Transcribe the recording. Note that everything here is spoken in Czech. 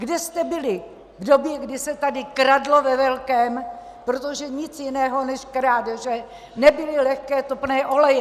Kde jste byli v době, kdy se tady kradlo ve velkém, protože nic jiného než krádeže nebyly lehké topné oleje!